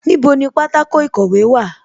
Níbo ni pátákó ìkọ̀wé wà?